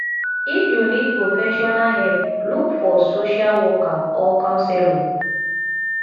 if you need professional help look for social worker or counselor